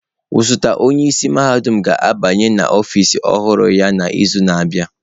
Osote onye isi mahadum ga-abanye n'ọfịs ọhụrụ ya n'izu na-abịa.